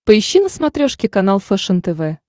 поищи на смотрешке канал фэшен тв